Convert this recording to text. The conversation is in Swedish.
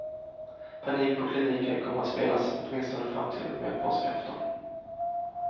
Panik på kliniken kommer att spelas åtminstone fram till och med påskafton.